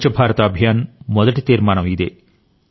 స్వచ్ఛభారత అభియాన్ మొదటి తీర్మానం ఇదే